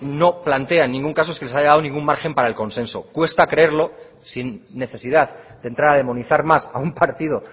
no plantea en ningún caso es que se le haya dado un margen para el consenso cuesta creerlo sin necesidad de entrar a demonizado más a un partido